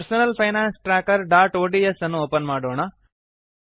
personal finance trackerಒಡಿಎಸ್ ಅನ್ನು open ಮಾಡೋಣ